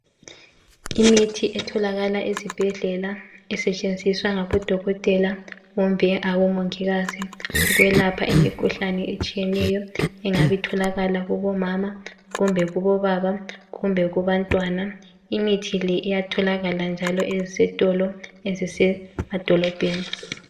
imithi etholakala esibhedlela esetshenziswa ngabodokotela kumbe abomongikazi ukwelapha imikhuhlane etshiyeneyo engabe itholakala kubo mama kumbe kubobaba kumbe kubantwana imithi le iyatholakala ezitolo eziyabe sise madolobheni